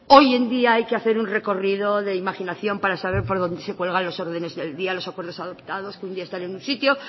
hoy en día hay que hacer un recorrido de imaginación para saber por dónde se cuelga las órdenes del día los acuerdos adoptados que un día están en un sitio